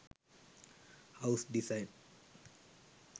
house design